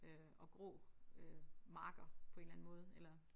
Øh og grå øh marker på en eller anden måde eller